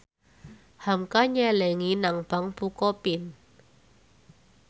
hamka nyelengi nang bank bukopin